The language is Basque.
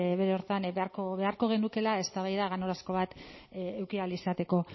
bere horretan beharko genukeela eztabaida ganorazko bat eduki ahal izateko